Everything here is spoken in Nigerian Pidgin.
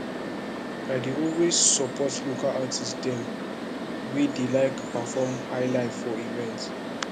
i dey always support local artist dem wey dey perform highlife for event